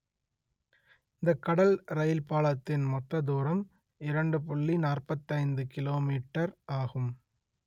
இந்த கடல் ரெயில் பாலத்தின் மொத்த தூரம் இரண்டு புள்ளி நாற்பத்தி ஐந்து கிலோ மீட்டர் ஆகும்